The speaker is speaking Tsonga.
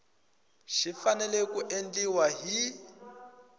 xi fanele ku endliwa hi